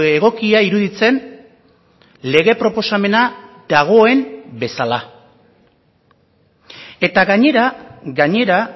egokia iruditzen lege proposamena dagoen bezala eta gainera gainera